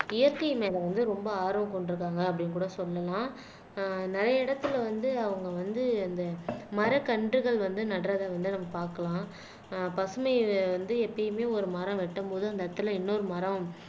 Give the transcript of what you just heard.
இயற்கை மேல வந்து ரொம்ப ஆர்வம் கொண்டிருக்காங்க அப்படின்னு கூட சொல்லலாம் அஹ் நிறைய இடத்துல வந்து அவங்க வந்து அந்த மரக்கன்றுகள் வந்து நடுறதை வந்து நம்ம பார்க்கலாம் ஆஹ் பசுமை வந்து எப்பயுமே ஒரு மரம் வெட்டும்போது அந்த இடத்துல இன்னொரு மரம்